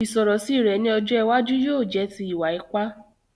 Ìsọ̀rọ̀ sí rẹ ni ọjọ́ iwájú yóò jẹ ti ìwà ipa